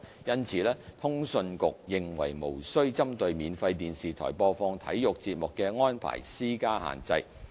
因此，通訊局認為無需針對免費電視台播放體育節目的安排施加限制。